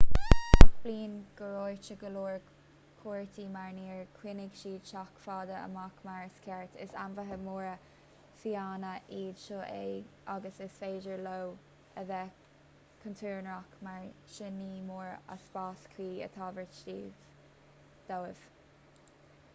gach bliain gortaítear go leor cuairteoirí mar níor choinnigh siad sách fada amach mar is ceart is ainmhithe móra fiáine iad seo agus is féidir leo a bheith contúirteach mar sin ní mór a spás cuí a thabhairt dóibh